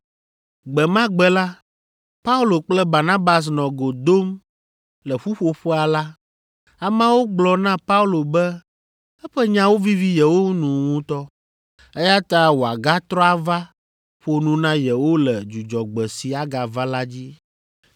Gbe ma gbe la, Paulo kple Barnabas nɔ go dom le ƒuƒoƒea la, ameawo gblɔ na Paulo be eƒe nyawo vivi yewo nu ŋutɔ, eya ta wòagatrɔ ava ƒo nu na yewo le Dzudzɔgbe si agava la dzi.